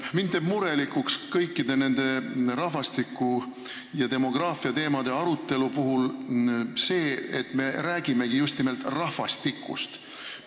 Mind teeb kõikide nende rahvastiku- ja demograafiateemade arutelude puhul murelikuks see, et me räägime just nimelt rahvastikust.